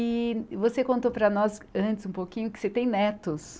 E você contou para nós antes um pouquinho que você tem netos.